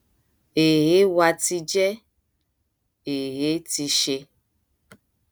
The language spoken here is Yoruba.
ẹ ẹ wá ti jẹ ẹ ẹ ti ṣe